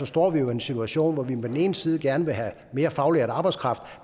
står vi en situation hvor vi på den ene side gerne vil have mere faglært arbejdskraft